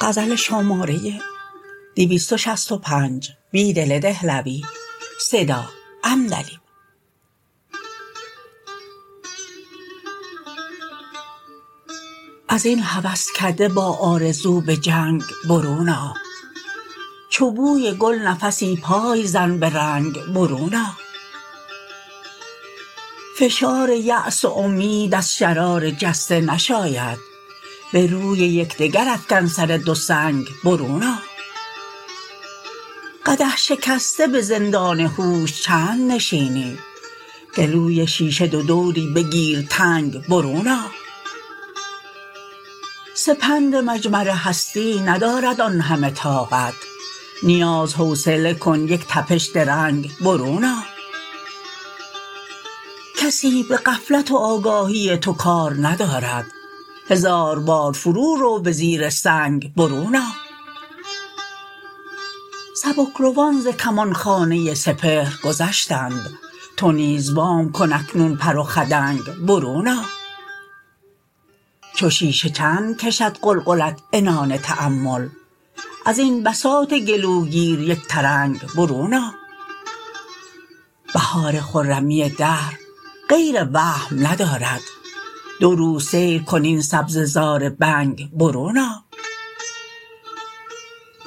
ازین هوسکده با آرزوبه جنگ برون آ چو بوی گل نفسی پای زن به رنگ برون آ فشار یأس و امید از شرار جسته نشاید به روی یکدگرافکن سر دو سنگ برون آ قدح شکسته به زندان هوش چند نشینی گلوی شیشه دودوری بگیرتنگ برون آ سپند مجمر هستیندارد آن همه طاقت نیاز حوصله کن یک تپش درنگ برو ن آ کسی به غفلت و آگاهی توکار ندارد هزاربار فرو رو به زیر سنگ برون آ سبکروان زکمانخانه سپهر گذشتند تو نیز وام کن اکنون پر و خدنگ برون آ چو شیشه چندکشد قلقلت عنان تأمل ازبن بساط گلوگیر یک ترنگ برون آ بهار خرمی دهر غیر وهم ندرد دو روز سیرکن این سبزه زار بنگ برون آ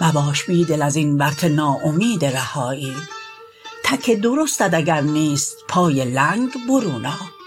مباش بیدل ازین ورطه ناامید رهایی تک درستت اگر نیست پای لنگ برون آ